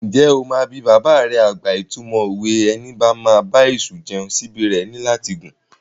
Ǹjẹ́ o máa bi bàbà rẹ àgbà ìtumọ̀ òwe "Ẹni bá máa bá èṣù jẹun, síbí rẹ̀ ní láti gùn"?